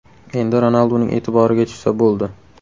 Endi Ronalduning e’tiboriga tushsa bo‘ldi.